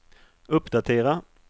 uppdatera